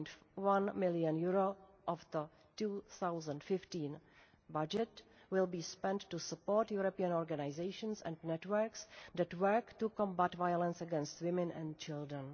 1.1 million of the 2015 budget will be spent on supporting European organisations and networks that work to combat violence against women and children.